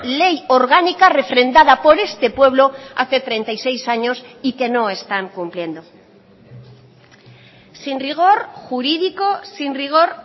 ley orgánica refrendada por este pueblo hace treinta y seis años y que no están cumpliendo sin rigor jurídico sin rigor